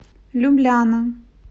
любляна